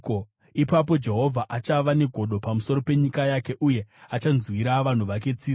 Ipapo Jehovha achava negodo pamusoro penyika yake, uye achanzwira vanhu vake tsitsi.